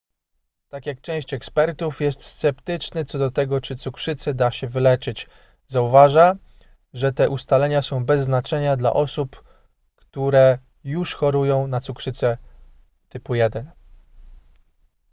tak jak część ekspertów jest sceptyczny co do tego czy cukrzycę da się wyleczyć zauważa że te ustalenia są bez znaczenia dla osób którze już chorują na cukrzycę typu 1